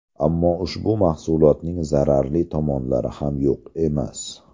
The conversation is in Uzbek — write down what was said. Ammo ushbu mahsulotning zararli tomonlari ham yo‘q emas.